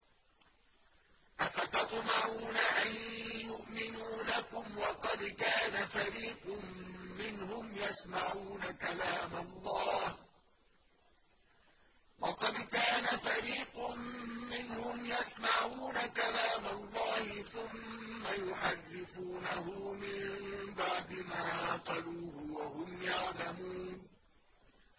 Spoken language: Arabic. ۞ أَفَتَطْمَعُونَ أَن يُؤْمِنُوا لَكُمْ وَقَدْ كَانَ فَرِيقٌ مِّنْهُمْ يَسْمَعُونَ كَلَامَ اللَّهِ ثُمَّ يُحَرِّفُونَهُ مِن بَعْدِ مَا عَقَلُوهُ وَهُمْ يَعْلَمُونَ